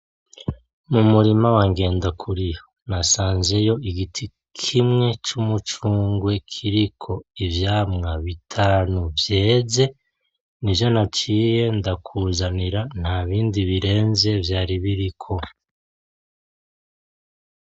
Mu murima wa Ngendakuriyo nahasanzeyo igiti kimwe c'umucungwe kiriko ivyamwa bitanu vyeze, nivyo naciye ndakuzanira ntabindi birenze vyari biriko.